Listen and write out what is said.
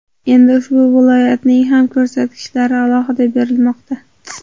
Endi ushbu viloyatning ham ko‘rsatkichlari alohida berilmoqda.